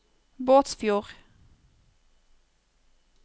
Båtsfjord